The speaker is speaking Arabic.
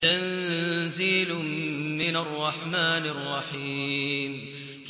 تَنزِيلٌ مِّنَ الرَّحْمَٰنِ الرَّحِيمِ